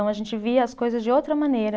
Então a gente via as coisas de outra maneira.